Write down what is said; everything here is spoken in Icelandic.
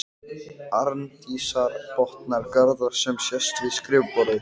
Arndísar, botnar Garðar sem sest við skrifborðið.